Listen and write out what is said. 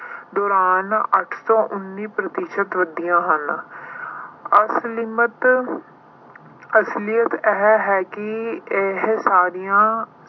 ਦੌਰਾਨ ਅੱਠ ਤੋਂ ਉੱਨੀ ਪ੍ਰਤੀਸ਼ਤ ਵਧੀਆਂ ਹਨ। ਅਸਲਿਮਤ ਅਹ ਅਸਲੀਅਤ ਇਹ ਹੈ ਕਿ ਇਹ ਸਾਰੀਆਂ